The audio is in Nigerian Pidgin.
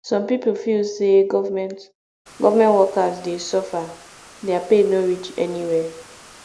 some pipo feel sey government government workers dey suffer their pay no reach anywhere